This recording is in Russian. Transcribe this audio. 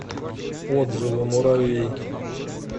отзывы муравей